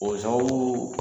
O sababu